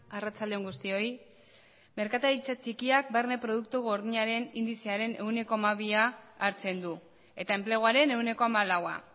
arratsalde on guztioi merkataritza txikiak barne produktu gordinaren indizearen ehuneko hamabia hartzen du eta enpleguaren ehuneko hamalaua